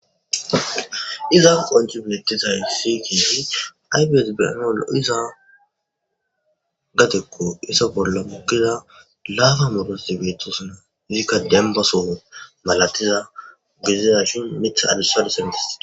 iza qonci bietizay sitii aybes beenaol iza gatekko isa bolla mukkiza laaba modos dibeetosuna izikka dembaso malatiza gididashi mitha adessadu sindistie